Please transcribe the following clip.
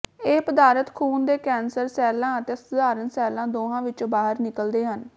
ਇਹ ਪਦਾਰਥ ਖੂਨ ਦੇ ਕੈਂਸਰ ਸੈੱਲਾਂ ਅਤੇ ਸਧਾਰਨ ਸੈੈੱਲਾਂ ਦੋਹਾਂ ਵਿੱਚੋਂ ਬਾਹਰ ਨਿਕਲਦੇ ਹਨ